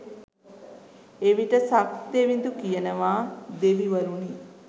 එවිට සක්දෙවිඳු කියනවා දෙවිවරුනි